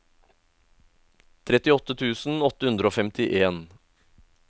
trettiåtte tusen åtte hundre og femtien